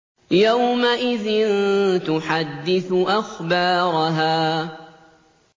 يَوْمَئِذٍ تُحَدِّثُ أَخْبَارَهَا